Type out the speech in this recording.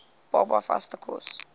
baba vaste kos